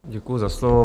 Děkuji za slovo.